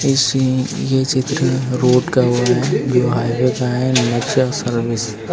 इसें ये चित्र रोड का हुआ है यो हाईवे का है नेक्जा सर्विस ।